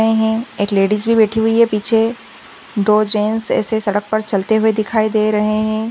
एक लेडिज भी बेठी हुई है पीछे दो जेन्स ऐसे सड़क पर चलते हुए दिखाई दे रहे है।